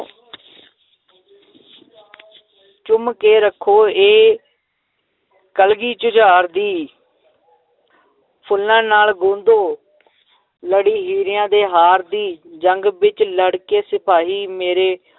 ਚੁੰਮ ਕੇ ਰੱਖੋ ਇਹ ਕਲਗੀ ਜੁਝਾਰ ਦੀ ਫੁੱਲਾਂ ਨਾਲ ਗੁੰਦੋ ਲੜੀ ਹੀਰਿਆਂ ਦੇ ਹਾਰ ਦੀ ਜੰਗ ਵਿੱਚ ਲੜਕੇ ਸਿਪਾਹੀ ਮੇਰੇ